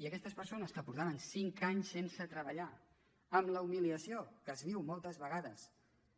i aquestes persones que feia cinc anys que no treballaven amb la humiliació que es viu moltes vegades